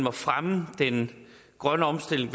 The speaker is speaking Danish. at fremme den grønne omstilling